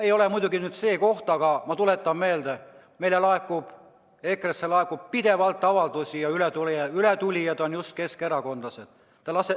Ei ole muidugi see koht, aga ma tuletan meelde, et meile EKRE‑sse laekub pidevalt avaldusi ja ületulijad on just keskerakondlased.